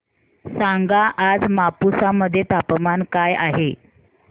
सांगा आज मापुसा मध्ये तापमान काय आहे